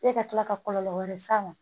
E ka tila ka kɔlɔlɔ wɛrɛ s'a ma